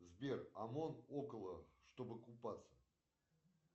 сбер омон около чтобы купаться